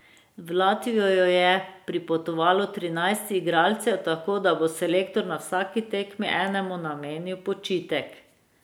V Latvijo je pripotovalo trinajst igralcev, tako da bo selektor na vsaki tekmi enemu namenil počitek.